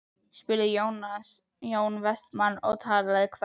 spurði Jón Vestmann og talaði hvellt.